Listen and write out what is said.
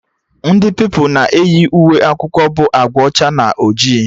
Ndị Pupilụ na eyi uwe akwụkwọ bụ agba ọcha na ojii